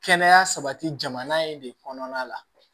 Kɛnɛya sabati jamana in de kɔnɔna la